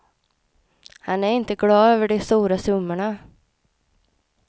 Han är inte glad över de stora summorna.